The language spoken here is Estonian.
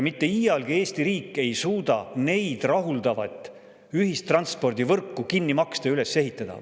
Mitte iialgi ei suuda Eesti riik neid rahuldavat ühistranspordivõrku kinni maksta ja üles ehitada.